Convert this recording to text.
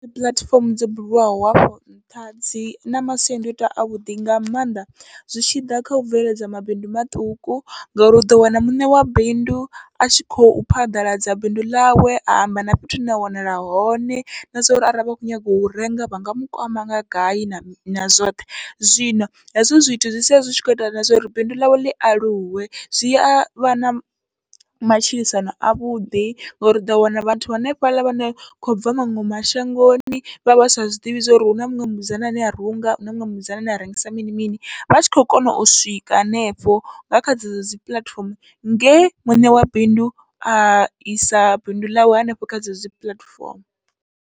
Puḽatifomo dzo bulwaho afho nṱha dzina masiandoitwa avhuḓi nga maanḓa, zwi tshiḓa kha u bveledza mabindu maṱuku ngauri uḓo wana muṋe wa bindu atshi khou phaḓaladza bindu ḽawe a amba na fhethu hune a wanala hone, na zwori arali vha kho nyaga u renga vhanga mukwama nga gai na na zwoṱhe. Zwino hezwo zwithu zwi sia zwi tshi kho ita na zwauri bindu ḽawe ḽi aluwe zwi avha na matshilisano avhuḓi, ngori uḓo wana vhathu vha hanefhaḽa vha no khobva maṅwe mashangoni vhavha vha sa zwiḓivhi zwori huna muṅwe musidzana ane a runga, huna muṅwe musidzana ane a rengisa mini mini, vha tshi khou kona u swika hanefho nga kha dzedzo dzi puḽatifomo nge muṋe wa bindu aisa bindu ḽawe hanefho kha dzedzo dzi puḽatifomo.